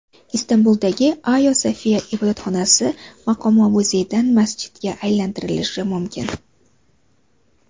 Istanbuldagi Ayo Sofiya ibodatxonasi maqomi muzeydan masjidga aylantirilishi mumkin.